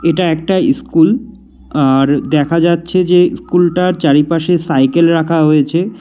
এটা একটা ইস্কুল আর দেখা যাচ্ছে যে ইস্কুলটার চারিপাশে সাইকেল রাখা হোয়েচে।